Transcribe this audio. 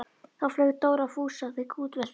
Þá flaug Dóri á Fúsa og þeir kútveltust í snjónum.